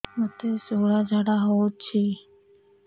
ମୋତେ ଶୂଳା ଝାଡ଼ା ହଉଚି